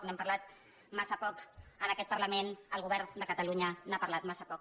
n’hem parlat massa poc en aquest parlament el go·vern de catalunya n’ha parlat massa poc